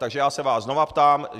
Takže já se vás znovu ptám.